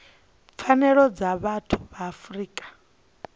pfanelo dza vhathu ya afrika